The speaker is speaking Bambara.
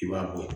I b'a bɔ